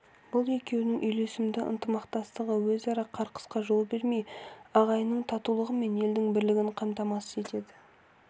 бұл екеуінің үйлесімді ынтымақтастығы өзара қырқысқа жол бермей ағайынның татулығы мен елдің бірлігін қамтамасыз етеді